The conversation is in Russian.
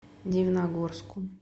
дивногорску